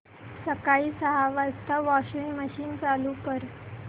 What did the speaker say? सकाळी सहा वाजता वॉशिंग मशीन चालू कर